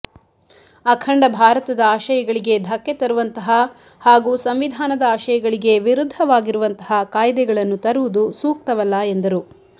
ಅಖಂಡ ಭಾರತದ ಆಶಯಗಳಿಗೆ ದಕ್ಕೆ ತರುವಂತಹ ಹಾಗೂ ಸಂವಿಧಾನದ ಆಶಯಗಳಿಗೆ ವಿರುದ್ದವಾಗಿರುವಂತಹ ಕಾಯ್ದೆಗಳನ್ನು ತರುವುದು ಸೂಕ್ತವಲ್ಲ ಎಂದರು